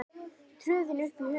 tröðin upp í hugann.